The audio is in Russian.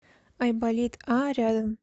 айболит а рядом